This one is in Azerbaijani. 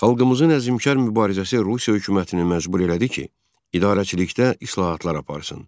Xalqımızın əzmkər mübarizəsi Rusiya hökumətini məcbur elədi ki, idarəçilikdə islahatlar aparsın.